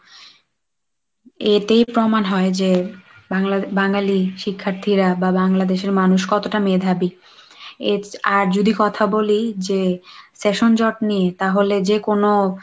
এতেই প্রমান হয় যে বাংলা~ বাঙালি শিক্ষার্থীরা বা বাংলাদেশের মানুষ কতটা মেধাবী। আর যদি কথা বলি যে session জট নিয়ে তাহলে যে কোন,